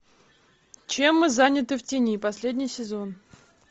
чем мы заняты в тени последний сезон